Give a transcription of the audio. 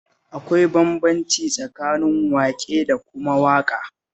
Akwai bambanci tsakanin waƙe da kuma waƙa